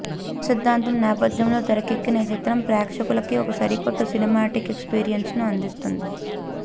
కర్మ సిద్ధాంతం నేపధ్యంలో తెరకెక్కిన ఈ చిత్రం ప్రేక్షకులకి ఒక సరికొత్త సినిమాటిక్ ఎక్స్పీరియన్స్ను అందిస్తుంది